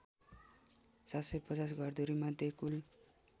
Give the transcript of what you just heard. ७५० घरधुरीमध्ये कुल